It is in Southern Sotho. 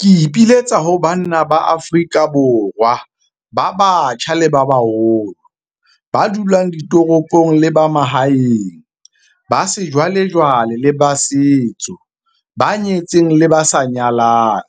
Ke ipiletsa ho banna ba Afrika Borwa ba batjha le ba baholo, ba dulang ditoropong le ba mahaeng, ba sejwalejwale le ba setso, ba nyetseng le ba sa nyalang,